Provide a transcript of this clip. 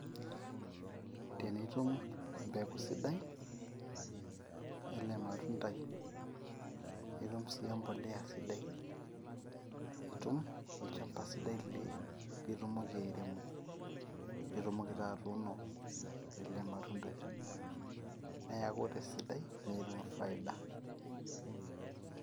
Tenitum embeku sidai, ele matundai ,nitum sii empolea sidai ,nitum olchamba sidai li litumoki airemo, nitumoki taa atuno ele matundai niaku tesidai nitum faida.